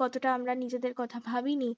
কতটা আমরা নিজেদের কথা ভাবেনি